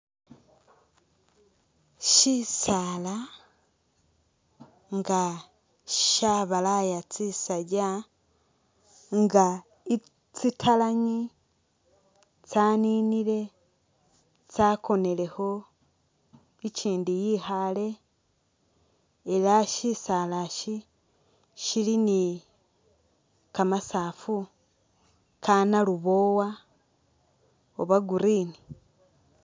Shisaala nga shabalaaya tsisaakya nga tsitalangi tsaninile tsakonelekho ichindi yikhale ela shisaala isi shili ni kamasafu kanaluboowa oba green